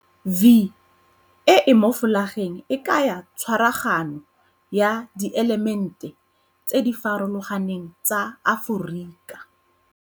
'V' e e mo folageng e kaya tshwaragano ya dielemente tse di farologaneng tsa Aforika.